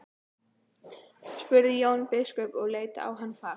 spurði Jón biskup og leit á hann fast.